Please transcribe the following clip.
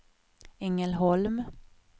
Ängelholm